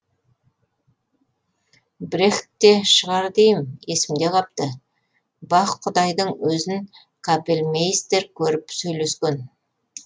брехтте шығар дейім есімде қапты бах құдайдың өзін капельмейстер көріп сөйлескен